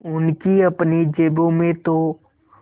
उनकी अपनी जेबों में तो